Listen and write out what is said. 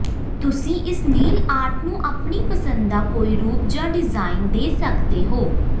ਤੁਸੀਂ ਇਸ nail art ਨੂੰ ਆਪਣੀ ਪਸੰਦ ਦਾ ਕੋਈ ਰੂਪ ਜਾਂ ਡਿਜ਼ਾਇਨ ਦੇ ਸਕਦੇ ਹੋ